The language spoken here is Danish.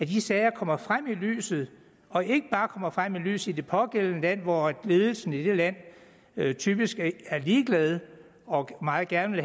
de sager kommer frem i lyset og ikke bare kommer frem i lyset i det pågældende land hvor ledelsen i det land typisk er ligeglade og meget gerne